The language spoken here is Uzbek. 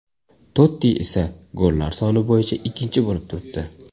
Totti esa gollar soni bo‘yicha ikkinchi bo‘lib turibdi.